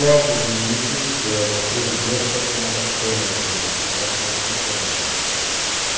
Logo de início me deram a presidência de uma das câmaras do tribunal, tribunal formado por câmaras.